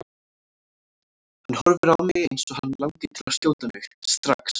Hann horfir á mig eins og hann langi til að skjóta mig strax.